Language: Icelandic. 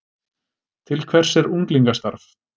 Til hvers er unglingastarf